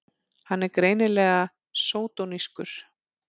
Hann er greinilega sódónískur!